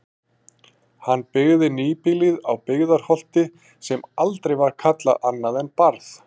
Hann byggði nýbýlið á Byggðarholti sem aldrei var kallað annað en Barð.